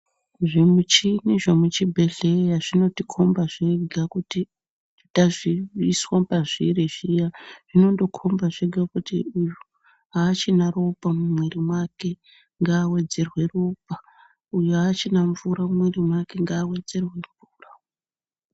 Zvimichino zvemuchibhedhleya zvinotikomba zvega kuti tazviiswa pazviri zviya zvinondokomba zvega kuti uyu haachina ropa mumwiri mwake, ngavedzerwe ropa, uyo haachina mvura mumwiri mwake ngaavedzerwe mvura.